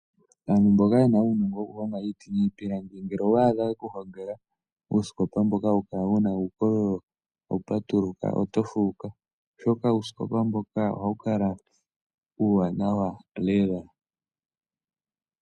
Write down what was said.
Aantu mboka yena uunongo ngele owa adha ye ku longela uusikopa mboka wuna uukololo hawu patuluka oto fuuka oshoka uusikopa mboka ohawu kala uuwanawa lela .